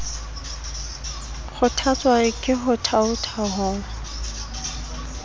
kgothatswa ke ho thaotha ho